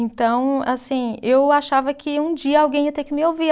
Então, assim, eu achava que um dia alguém ia ter que me ouvir.